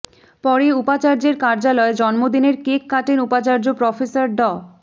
পরে উপাচার্যের কার্যালয়ে জন্মদিনের কেক কাটেন উপাচার্য প্রফেসর ড